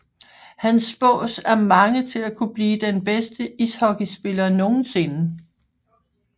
Han spås af mange til at kunne blive den bedste ishockeyspiller nogensinde